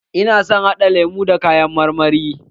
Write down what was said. Ina so haɗa lemun da kayan marmari.